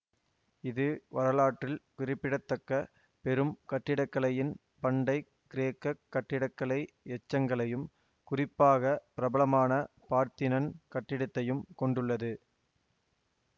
இது வரலாற்றில் குறிப்பிடத்தக்க பெரும் கட்டிடக்கலையின் பண்டை கிரேக்க கட்டிடக்கலை எச்சங்களையும் குறிப்பாக பிரபலமான பார்த்தினன் கட்டிடத்தையும் கொண்டுள்ளது